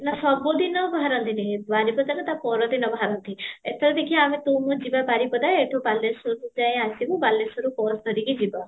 ନା ସବୁଦିନ ବାହାରନ୍ତି ନାହିଁ ବାରିପଦା ରେ ତା ପର ଦିନ ବାହାରନ୍ତି ଏଥର ଦେଖିବା ଆମେ ତୁ ମୁଁ ଯିବା ବାରିପଦା ଏଠୁ ବାଲେଶ୍ୱର ଯାଏଁ ଆସିବୁ ବାଲେଶ୍ୱରୁ bus ଧରିକି ଯିବା